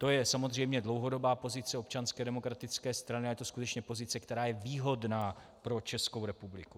To je samozřejmě dlouhodobá pozice Občanské demokratické strany a je to skutečně pozice, která je výhodná pro Českou republiku.